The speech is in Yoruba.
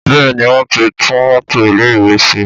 Bẹ́ẹ̀ni wọn ti tún mọ́tọ̀ ilé ìwé ṣe